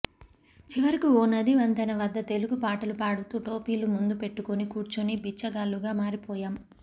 చివరకు ఓ నది వంతెన వద్ద తెలుగు పాటలు పాడుతూ టోపీలు ముందు పెట్టుకుని కూర్చుని బిచ్చగాళ్లుగా మారిపోయాం